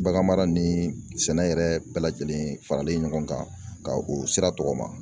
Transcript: Bagan mara ni sɛnɛ yɛrɛ bɛɛ lajɛlen faralen ɲɔgɔn kan ka o sira tɔgɔma